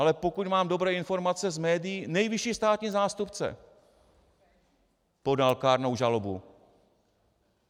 Ale pokud mám dobré informace z médií, nejvyšší státní zástupce podal kárnou žalobu.